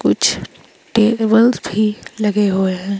कुछ टेबल्स भी लगे हुए हैं।